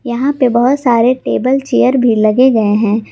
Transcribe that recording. यहां पे बहोत सारे टेबल चेयर भी लगे गए हैं।